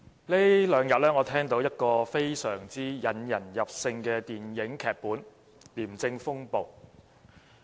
主席，這兩天，我聽到一個非常引人入勝的電影劇本——"廉政風暴"。